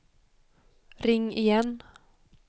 ring igen